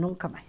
Nunca mais.